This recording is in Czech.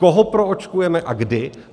Koho proočkujeme a kdy?